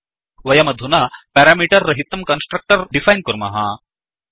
वयमधुना पेरामीटर् रहितं constructor define कुर्मः